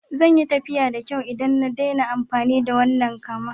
Zan yi tafiya da kyau idan na daina amfani da wannan kama.